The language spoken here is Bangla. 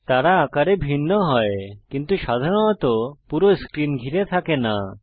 তারা আকারে ভিন্ন হয় কিন্তু সাধারণত পুরো স্ক্রিন ঘিরে থাকে না